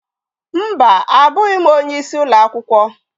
Mba, abụghị m onyeisi ụlọ akwụkwọ